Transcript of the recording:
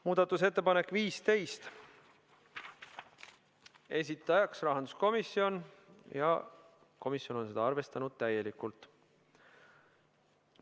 Muudatusettepanek nr 15, esitajaks on rahanduskomisjon ja sedagi on arvestatud täielikult.